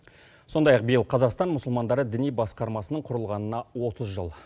сондай ақ биыл қазақстан мұсылмандары діни басқармасының құрылғанына отыз жыл